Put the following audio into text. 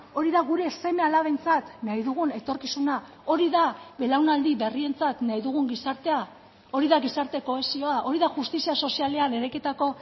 hori da gure seme alabentzat nahi dugun etorkizuna hori da belaunaldi berrientzat nahi dugun gizartea hori da gizarte kohesioa hori da justizia sozialean eraikitako